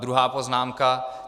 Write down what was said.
Druhá poznámka.